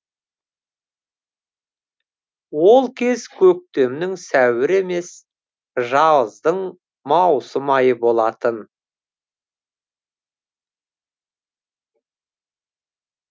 ол кез көктемнің сәуірі емес жаздың маусым айы болатын